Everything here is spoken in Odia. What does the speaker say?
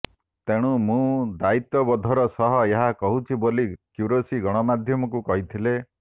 ତେଣୁ ମୁଁ ଦାୟିତ୍ବବୋଧର ସହ ଏହା କହୁଛି ବୋଲି କ୍ୟୁରେଶୀ ଗଣମାଧ୍ୟମକୁ କହିଥିଲେ